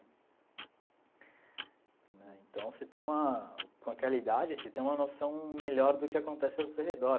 Né então, você tem uma... Com aquela idade, você tem uma noção melhor do que acontece ao seu redor.